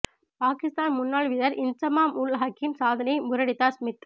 பாகிஸ்தான் முன்னாள் வீரர் இன்சமாம் உல் ஹக்கின் சாதனையை முறியடித்தார் ஸ்மித்